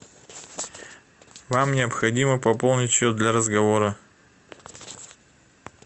вам необходимо пополнить счет для разговора